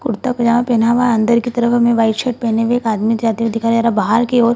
कुर्ता पजामा पहना हुआ अंदर की तरफ हमे व्हाइट शर्ट पहने हुआ एक आदमी जाते हुए दिखाई दे रहे है बाहर की ओर |